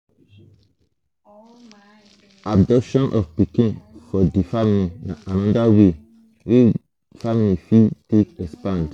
adoption of pikin for di family na anoda way wey wey family fit take expand